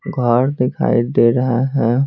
घर दिखाई दे रहा है।